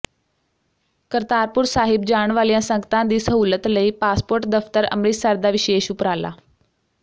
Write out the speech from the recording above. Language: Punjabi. ਕਰਤਾਰਪੁਰ ਸਾਹਿਬ ਜਾਣ ਵਾਲੀਆਂ ਸੰਗਤਾਂ ਦੀ ਸਹੂਲਤ ਲਈ ਪਾਸਪੋਰਟ ਦਫ਼ਤਰ ਅੰਮਿ੍ਰਤਸਰ ਦਾ ਵਿਸ਼ੇਸ਼ ਉਪਰਾਲਾ